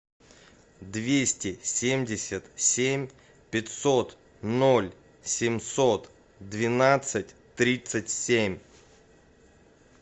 двести семьдесят семь пятьсот ноль семьсот двенадцать тридцать семь